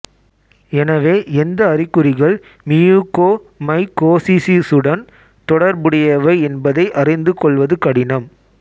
எனவே எந்த அறிகுறிகள் மியூகோமைகோசிசிசுடன் தொடர்புடையவை என்பதை அறிந்து கொள்வது கடினம்